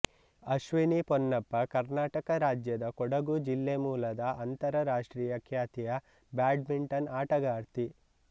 ಅಶ್ವಿನಿ ಪೊನ್ನಪ್ಪ ಕರ್ನಾಟಕ ರಾಜ್ಯದ ಕೊಡಗು ಜಿಲ್ಲೆ ಮೂಲದ ಅಂತರರಾಷ್ಟ್ರೀಯ ಖ್ಯಾತಿಯ ಬ್ಯಾಡ್ಮಿಂಟನ್ ಆಟಗಾರ್ತಿ